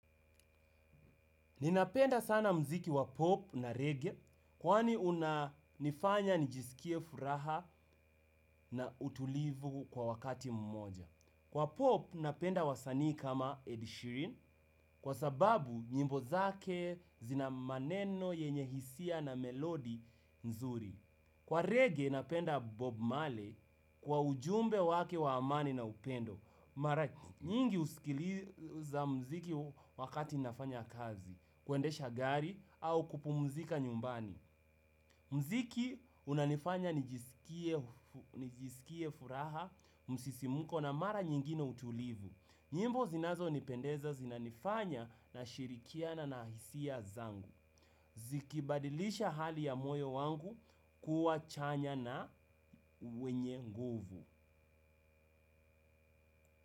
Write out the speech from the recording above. Ninapenda sana mziki wa pop na reggae kwani unanifanya nijisikie furaha na utulivu kwa wakati mmoja. Kwa pop napenda wasanii kama Ed Sheerin kwa sababu nyimbo zake zina maneno yenye hisia na melodi nzuri. Kwa reggae napenda bob marley kwa ujumbe wake wa amani na upendo. Nyingi usikiliza mziki wakati nafanya kazi, kuendesha gari au kupumzika nyumbani. Mziki unanifanya nijisikie furaha, msisimuko na mara nyingine utulivu. Nyimbo zinazonipendeza zinanifanya nashirikiana na hisia zangu. Zikibadilisha hali ya moyo wangu kuwa chanya na wenye nguvu.